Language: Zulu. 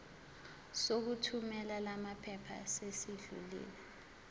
sokuthumela lamaphepha sesidlulile